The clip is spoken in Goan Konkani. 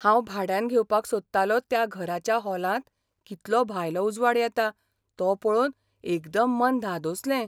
हांव भाड्यान घेवपाक सोदतालो त्या घराच्या हॉलांत कितलो भायलो उजवाड येता तो पळोवन एकदम मन धादोसलें.